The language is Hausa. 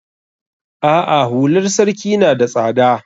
A'a hular sarki na da tsada.